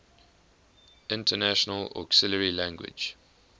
international auxiliary language